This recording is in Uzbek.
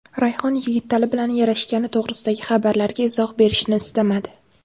Rayhon Yigitali bilan yarashgani to‘g‘risidagi xabarlarga izoh berishni istamadi.